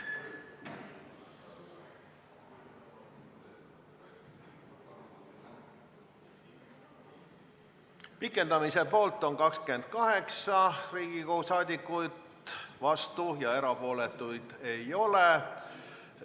Hääletustulemused Pikendamise poolt on 28 Riigikogu liiget, vastuolijaid ja erapooletuid ei ole.